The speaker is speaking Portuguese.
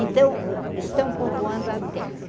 Então, o estão povoando a terra.